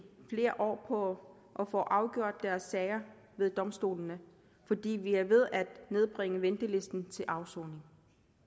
flere år på at få afgjort deres sager ved domstolene fordi vi er ved at nedbringe ventelisten til afsoning